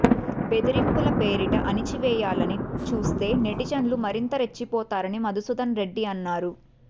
బెదిరింపుల పేరిట అణిచివేయాలని చూస్తే నెటిజన్లు మరింత రెచ్చిపోతారని మధుసూదన్ రెడ్డి అన్నారు